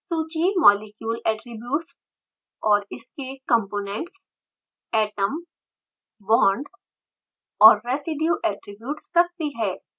सूची molecule attributes और इसके कंपोनेंट्स atom bond और residue attributes रखती है